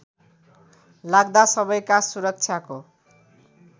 लाग्दा सबैका सुरक्षाको